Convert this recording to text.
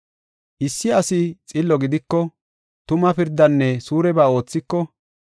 “Issi asi xillo gidiko, tuma pirdanne suureba oothiko,